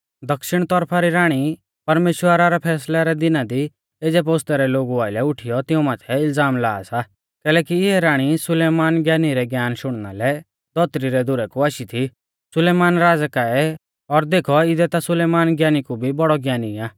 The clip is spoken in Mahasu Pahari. दक्षिण तौरफा री राणी परमेश्‍वरा रै फैसलै रै दिना दी एज़ै पोस्तै रै लोगु आइलै उठीयौ तिऊं माथै इलज़ाम ला सा कैलैकि इऐ राणी सुलेमान ज्ञानी रै ज्ञान शुणना लै धौतरी रै धुरै कु आशी थी सुलेमान राज़ै काऐ और देखौ इदै ता सुलेमान ज्ञानी कु भी बौड़ौ ज्ञानी आ